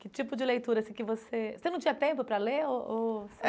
Que tipo de leitura, assim, que você... Você não tinha tempo para ler ou...?